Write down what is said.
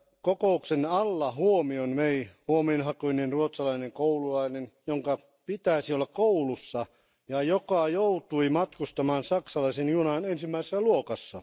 Kokouksen alla huomion vei huomionhakuinen ruotsalainen koululainen, jonka pitäisi olla koulussa ja joka joutui matkustamaan saksalaisen junan ensimmäisessä luokassa.